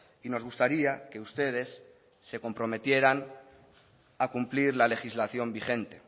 y nos gustaría que ustedes se comprometieran a cumplir la legislación vigente